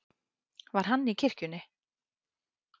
Var hann í kirkjunni?